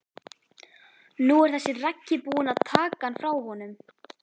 Nú er þessi Raggi búinn að taka hann frá honum.